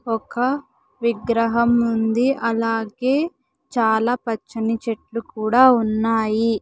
ఒక విగ్రహం ఉంది అలాగే చాలా పచ్చని చెట్లు కూడా ఉన్నాయి.